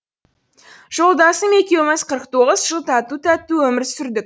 жолдасым екеуміз қырық тоғыз жыл тату тәтті өмір сұрдік